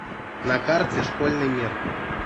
на карте школьный мир